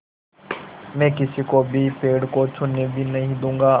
मैं किसी को भी पेड़ को छूने भी नहीं दूँगा